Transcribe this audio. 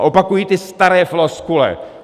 A opakují ty staré floskule.